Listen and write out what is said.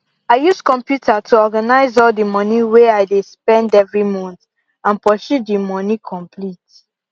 i use computer to organize all the money way i dey spend every month and pursue the money complete